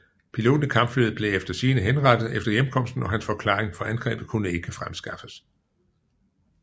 Piloten i kampflyet blev efter sigende henrettet efter hjemkomsten og hans forklaring for angrebet kunne ikke fremskaffes